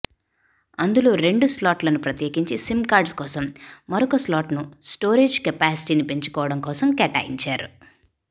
అందులో రెండు స్లాట్లను ప్రత్యేకించే సిమ్ కార్డ్స్ కోసం మరొక స్లాట్ను స్టోరేజ్ కెపాసిటీని పెంచుకోవటం కోసం కేటాయించారు